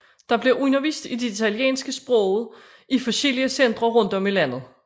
Der bliver undervist i det italienske sprog i forskellige centre rundt om i landet